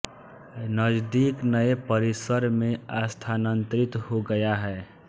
नजदीक नए परिसर में स्थानांतरित हो गया है